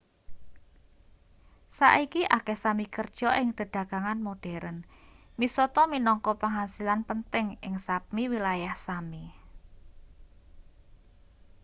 saiki akeh sámi kerja ing dedagangan modheren. misata minangka pangasilan penting ing sápmi wilayah sámi